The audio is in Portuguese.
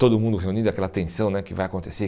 Todo mundo reunido, aquela tensão né que vai acontecer.